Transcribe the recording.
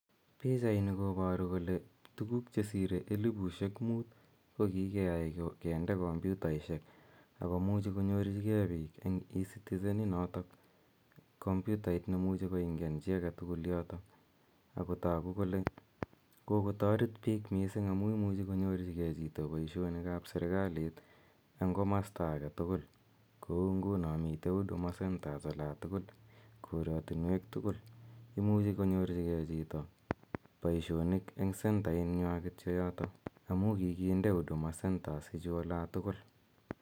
Pichani koparu kole tuguuk chesire elipusiek muut koki ke ai kinde komputaishek ago muchi konyorchigei chito eng' ecitizen inotok komputait ne imuchi koingian chi age tugul yotok, ago tagu kole kokotaret piik missing' amu imuchi konyorchigei chito poishonik ap serikalit eng' komasta age tugul. Kou nguno mitei huduma centre ola tugul, koratinweek tugul. Imuchi konyorchigei chito poishonik eng sendainywa kityo amu kikinde huduma centers ichu ola tugul.